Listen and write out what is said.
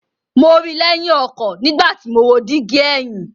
Mo ri i lẹhin ọkọ nigbati mo wo digi ẹhin